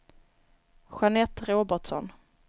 Jeanette Robertsson